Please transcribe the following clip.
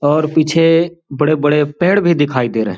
और पीछे बड़े-बड़े पेड़ भी दिखाई दे रहे है।